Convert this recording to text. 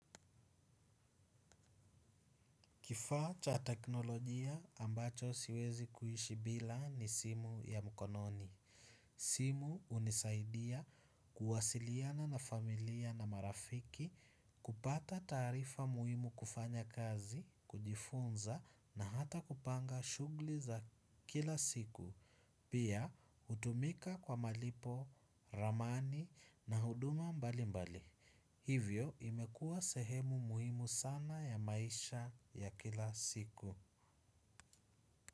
Kifaa cha teknolojia ambacho siwezi kuishi bila ni simu ya mkononi. Simu hunisaidia kuwasiliana na familia na marafiki kupata taarifa muhimu kufanya kazi, kujifunza na hata kupanga shughuli za kila siku. Pia hutumika kwa malipo, ramani na huduma mbalimbali. Hivyo imekuwa sehemu muhimu sana ya maisha ya kila siku.